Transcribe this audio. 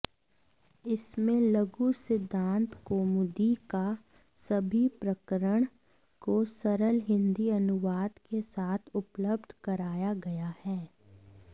इसमें लघुसिद्धान्तकौमुदी का सभी प्रकरण को सरल हिन्दी अनुवाद के साथ उपलब्ध कराया गया है